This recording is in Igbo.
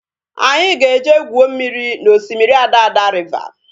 Anyị ga-eje gwuo mmiri na osimiri Adada riva